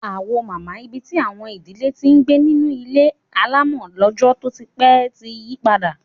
Awo mama, ibi tí àwọn ìdílé ti ń gbé nínú ilé alámọ̀ lọ́jọ́ tó ti pẹ́, ti yí padà